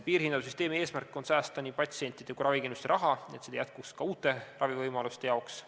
Piirhinnasüsteemi eesmärk on säästa patsientide ja ravikindlustuse raha, et seda jätkuks ka uute ravivõimaluste jaoks.